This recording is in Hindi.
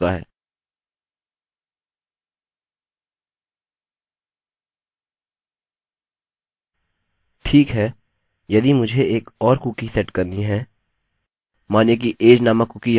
ठीक है यदि मुझे एक और कुकी सेट करनी है मानिए कि age नामक कुकी यहाँ सेट करता हूँ और मेरी उम्र 19 है